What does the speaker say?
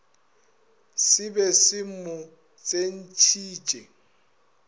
se be se mo tsentšhitše